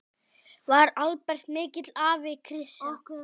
Var Albert mikill afi, Krissa?